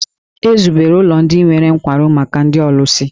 E zubere ụlọ ndị nwere nkwarụ maka ndị ọlụsị.